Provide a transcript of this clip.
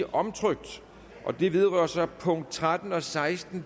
omtrykt det vedrører så punkt tretten og seksten